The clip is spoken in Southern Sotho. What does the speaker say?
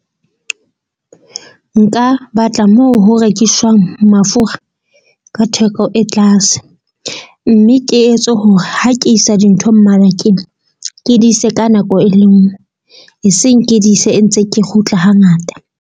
Nka batla moo ho rekiswang mafura ka theko e tlase. Mme ke etse hore ha ke isa dintho mmarakeng. Ke di ise ka nako e le nngwe e seng ke di ise e ntse ke kgutla ha ngata.